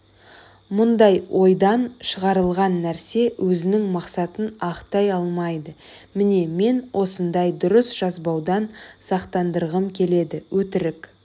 мұндай ойдан шығарылған нәрсе өзінің мақсатын ақтай алмайды міне мен осындай дұрыс жазбаудан сақтандырғым келеді өтірік